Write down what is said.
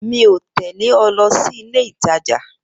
Mi o tẹle ọ lọ sílé ìtajà